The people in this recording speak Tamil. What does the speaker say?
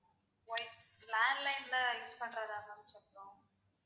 wi~landline ல use பண்றத தான் ma'am சொல்றோம்